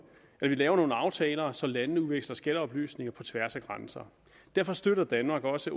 vi laver nogle aftaler så landene udveksler skatteoplysninger på tværs af grænser derfor støtter danmark også